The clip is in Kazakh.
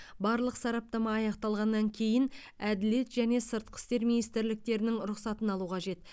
барлық сараптама аяқталғаннан кейін әділет және сыртқы істер министрліктерінің рұқсатын алу қажет